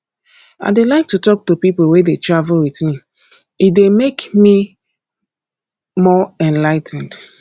i dey like to talk to people wey dey travel with me e dey make me more enligh ten ed